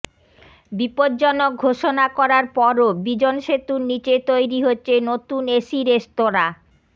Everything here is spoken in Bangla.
বিপজ্জনক ঘোষণা করার পরও বিজন সেতুর নীচে তৈরি হচ্ছে নতুন এসি রেস্তোরাঁ